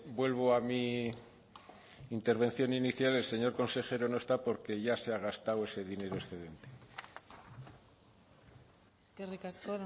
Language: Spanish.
vuelvo a mi intervención inicial el señor consejero no está porque ya se ha gastado ese dinero excedente eskerrik asko